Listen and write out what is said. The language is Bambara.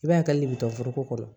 I b'a ye hali bi foroko kɔnɔ